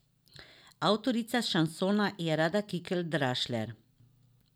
Avtorica šansona je Rada Kikelj Drašler.